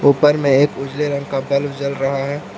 ऊपर में एक उजले रंग का बल्ब जल रहा है।